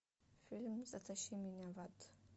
фильм затащи меня в ад